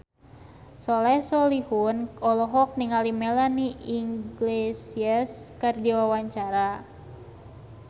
Soleh Solihun olohok ningali Melanie Iglesias keur diwawancara